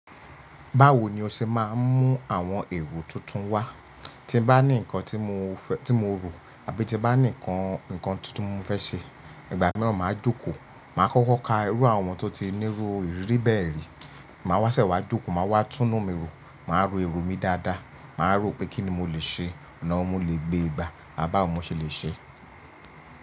Báwo ni o ṣe máa ń mú àwọn èrò tuntun wá? Tí n bá ní nǹkan tí mo rò àbí tí bá ní nǹkan tuntun mo fẹ́ ṣe, ìgbà naa máa jókòó. Màá kọ́kọ́ ka irú àwọn tó ti nírú ìrírí bẹ́ẹ̀ rí. Màá wá sẹ́ wká jókòó, màá wá túnú mi rò, màá ro ero mi dáadáa, màá rò pé kí ni mo lè ṣe, ọ̀nà wó mo lè gbéegba, bá wọ̀ mó ṣe lè ṣe.